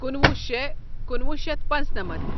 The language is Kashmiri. کُنوُہ شےٚ کُنوُہ شیتھ پانٛژنمتھ